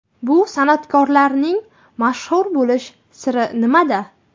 Bu san’atkorlarning mashhur bo‘lish siri nimada?